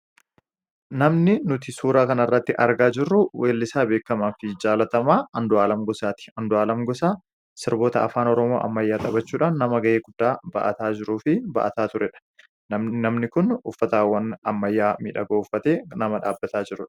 namni nuti suura kan irratti argaa jirru weellisaa beekamaa fi jaalatamaa andu'aalam gosaati Andu'aalam Gosaa sirboota afaan ormoo ammayyaatabachuudhan nama ga'ee guddaa ba’ataa jiruu fi ba'ataa ture dha namni kun uffataawwan ammayyaa midha gooffate nama dhaabbataa jiru